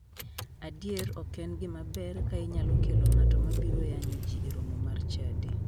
Adier ok en gima ber ka inyalo kelo ng'ato ma biro yanyo ji e romo mar chadi.